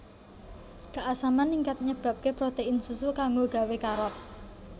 Keasaman ningkat nyebabké protein susu kanggo gawé karot